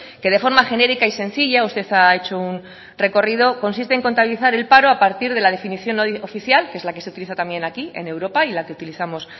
que de forma genérica y sencilla usted ha hecho un recorrido consiste en contabilizar el paro a partir de la definición oficial que es la que se utiliza también aquí en europa y la que utilizamos